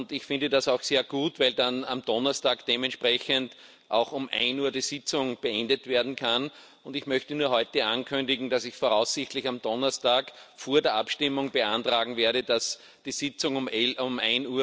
Ich finde das auch sehr gut, weil dann am Donnerstag dementsprechend auch um 13.00 Uhr die Sitzung beendet werden kann. Ich möchte nur heute ankündigen, dass ich voraussichtlich am Donnerstag vor der Abstimmung beantragen werde, dass die Sitzung pünktlich um